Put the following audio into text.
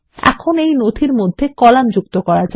এখন এই ডকুমেন্টর মধ্যে কলাম যুক্ত করা যাক